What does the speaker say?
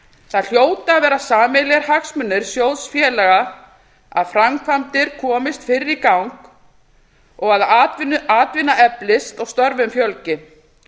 það hljóta að vera sameiginlegir hagsmunir sjóðfélaga að framkvæmdir komist fyrr í gang að atvinna eflist störfum fjölgi